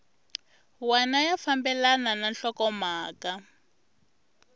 wana ya fambelana na nhlokomhaka